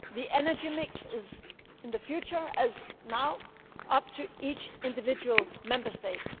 gas. The energy mix in the future, as now, will be up to each individual Member